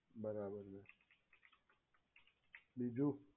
બરાબર છે બીજુ